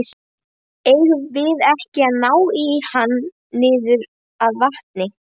Eigum við ekki að ná í hann niður að vatni?